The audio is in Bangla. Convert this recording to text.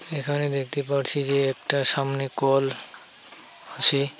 এখানে দেখতে পারছি যে একটা সামনে কল আছে।